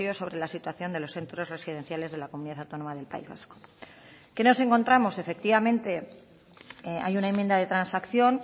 sobre la situación de los centros residenciales de la comunidad autónoma del país vasco qué nos encontramos efectivamente hay una enmienda de transacción